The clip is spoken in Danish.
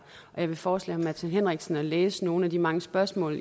jeg vil foreslå herre martin henriksen at læse nogle af de mange spørgsmål